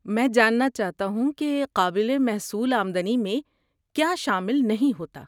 میں جاننا چاہتا ہوں کہ قابل محصول آمدنی میں کیا شامل نہیں ہوتا۔